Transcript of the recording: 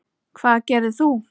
Hvað gerðir þú?